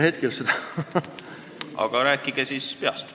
Aga rääkige siis peast.